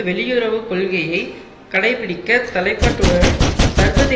வெளியுறவு கொள்கையை கடைபிடிக்க தலைப்பட்டவுடன் சர்வதேசிய